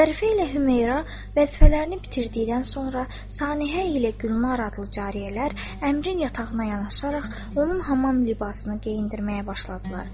Zərifə ilə Hümeyrə vəzifələrini bitirdikdən sonra Saniəhə ilə Gülnar adlı cariyələr Əmiri yatağına yanaşaraq onun hamam libasını geyindirməyə başladılar.